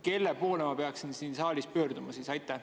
Kelle poole ma peaksin siin saalis pöörduma?